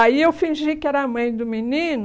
Aí eu fingi que era a mãe do menino,